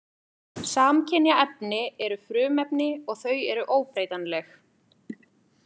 Samkynja efni eru frumefni og þau eru óbreytanleg.